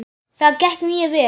Það gekk mjög vel.